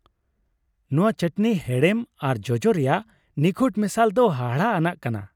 ᱱᱚᱶᱟ ᱶᱟᱹᱴᱱᱤ ᱦᱮᱲᱮᱢ ᱟᱨ ᱡᱚᱡᱚ ᱨᱮᱭᱟᱜ ᱱᱤᱠᱷᱩᱴ ᱢᱮᱥᱟᱞ ᱫᱚ ᱦᱟᱦᱟᱲᱟᱜ ᱟᱱᱟᱜ ᱠᱟᱱᱟ ᱾